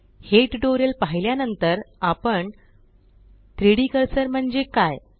हे ट्यूटोरियल पाहिल्या नंतर आपण 3Dकर्सर म्हणजे काय